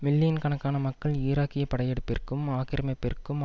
million கணக்கான மக்கள் ஈராக்கிய படையெடுப்பிற்கும் ஆக்கிரமிப்பிற்கும்